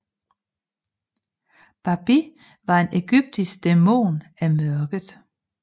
Babi var en egyptisk dæmon af mørket